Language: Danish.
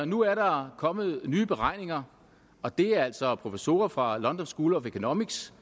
nu er der kommet nye beregninger og det er altså professorer fra the london school of economics